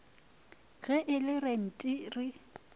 ge e le lenti re